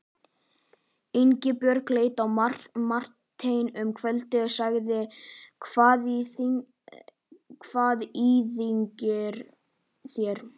Ingibjörg leit á Martein um kvöldið og sagði: Hvað íþyngir þér?